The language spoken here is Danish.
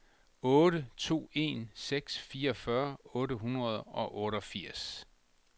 otte to en seks fireogfyrre otte hundrede og otteogfirs